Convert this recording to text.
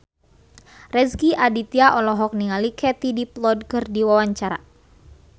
Rezky Aditya olohok ningali Katie Dippold keur diwawancara